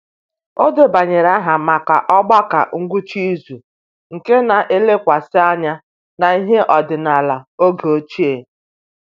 O debanyere aha maka ogbako ngwụsị izu nke na-elekwasị anya n'ihe ọdịnala oge ochie